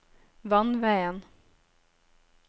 vannveien